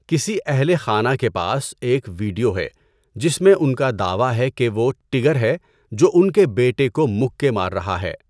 کسی اہل خانہ کے پاس ایک ویڈیو ہے جس میں ان کا دعویٰ ہے کہ وہ 'ٹِگر' ہے جو ان کے بیٹے کو مکے مار رہا ہے۔